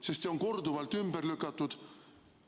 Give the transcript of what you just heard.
See väide on korduvalt ümber lükatud.